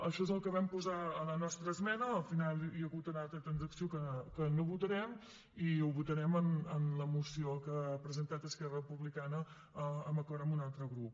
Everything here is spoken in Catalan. això és el que vam posar a la nostra esmena al final hi ha hagut una altra transacció que no votarem i ho votarem en la moció que ha presentat esquerra republicana d’acord amb un altre grup